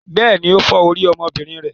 Bẹ́ẹ̀ni, ó fọ́ orí ọmọbìnrin rẹ.